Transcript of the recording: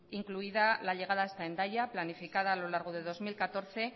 incluida la llegada hasta hendaya planificada a lo largo de dos mil catorce